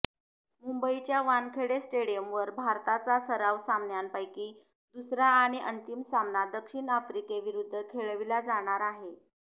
मुंबईच्या वानखेडे स्टेडिअमवर भारताचा सराव सामन्यापैकी दुसरा आणि अंतीम सामना दक्षिण आफ्रिकेविरूद्ध खेळविला जाणार आहे